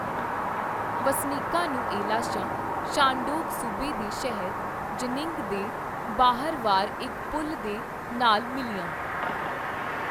ਵਸਨੀਕਾਂ ਨੂੰ ਇਹ ਲਾਸ਼ਾਂ ਸ਼ਾਨਡੋਂਗ ਸੂਬੇ ਦੇ ਸ਼ਹਿਰ ਜਿਨਿੰਗ ਦੇ ਬਾਹਰਵਾਰ ਇੱਕ ਪੁਲ ਦੇ ਨਾਲ ਮਿਲੀਆਂ।